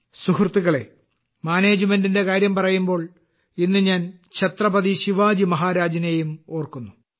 സുഹൃത്തുക്കളെ മാനേജ്മെന്റിന്റെ കാര്യം പറയുമ്പോൾ ഇന്ന് ഞാൻ ഛത്രപതി ശിവാജി മഹാരാജിനെയും ഓർക്കുന്നു